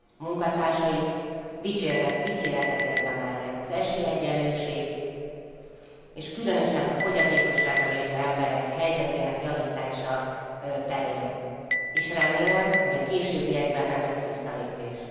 munkatársai dicséretet érdemelnek az esélyegyenlőség és különösen a fogyatékossággal élő emberek helyzetének javítása terén, és remélem, hogy a későbbiekben nem lesz visszalépés.